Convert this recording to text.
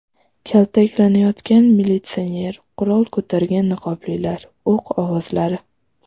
Kaltaklanayotgan militsioner, qurol ko‘targan niqoblilar, o‘q ovozlari.